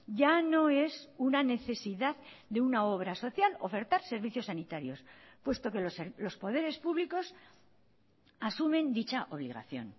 ya no es una necesidad de una obra social ofertar servicios sanitarios puesto que los poderes públicos asumen dicha obligación